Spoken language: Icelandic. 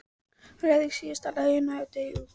Hann leyfði síðasta slaginu að deyja út.